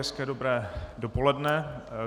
Hezké dobré dopoledne.